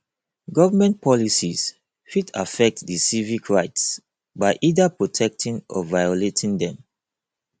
government policies fit affect di civic rights by either protecting or violating dem